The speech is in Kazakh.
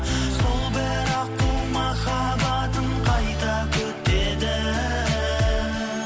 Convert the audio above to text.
сол бір аққу махаббатын қайта күтеді